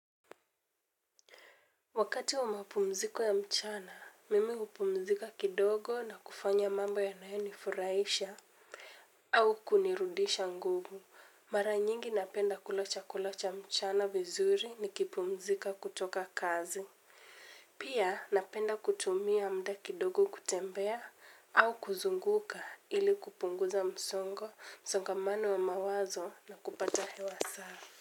Wakati wa mapumziko ya mchana, mimi hupumzika kidogo na kufanya mambo yanayo nifuraisha. Au kunirudisha nguvu, mara nyingi napenda kula chakula cha mchana vizuri nikipumzika kutoka kazi. Pia napenda kutumia muda kidogo kutembea au kuzunguka ili kupunguza msongo, msongamano wa mawazo na kupata hewa safi.